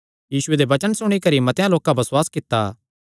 यीशुये दे वचन सुणी करी मतेआं लोकां बसुआस कित्ता